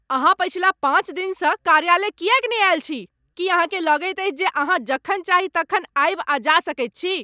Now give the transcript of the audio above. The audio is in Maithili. अहाँ पछिला पाँच दिनसँ कार्यालय किएक नहि आयल छी? की अहाँकेँ लगैत अछि जे अहाँ जखन चाही तखन आबि आ जा सकैत छी?